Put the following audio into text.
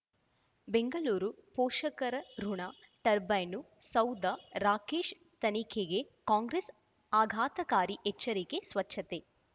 ಬೆಂಗಳೂರು ಪೋಷಕರಋಣ ಟರ್ಬೈನು ಸೌಧ ರಾಕೇಶ್ ತನಿಖೆಗೆ ಕಾಂಗ್ರೆಸ್ ಆಘಾತಕಾರಿ ಎಚ್ಚರಿಕೆ ಸ್ವಚ್ಛತೆ